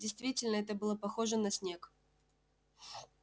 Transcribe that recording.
действительно это было похоже на снег